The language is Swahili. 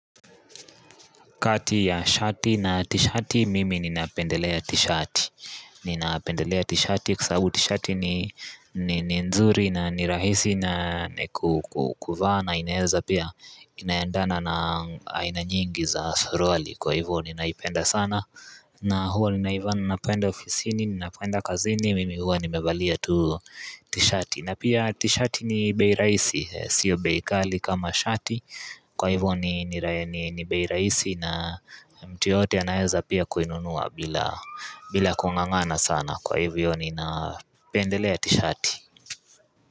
Kati ya shati na tishati, mimi ninaependelea tishati. Ninaependelea tishati kwasabu tishati ni nzuri na nirahisi na kukuvaa. Inaeza pia, ina endana na aina nyingi za suruali. Kwa hivyo, ninaipenda sana. Na huwa, nina ivaa ninapo enda ofisini, ninapo enda kazini, mimi huwa nimevalia tu tishati. Na pia tishati ni bei rahisi, sio bei ghali kama shati. Kwa hivyo ni ni bei rahisi na mtu yeyote anaweza pia kuinunua bila kung'ang'ana sana Kwa hivyo nina pendelea tishati.